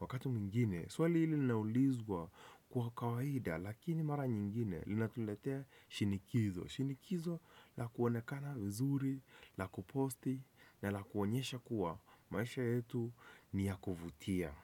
Wakati mwingine, swali hili linaulizwa kwa kawaida, lakini mara nyingine linatuletea shinikizo. Shinikizo la kuonekana uzuri, la kuposti na la kuonyesha kuwa maisha yetu niya kuvutia.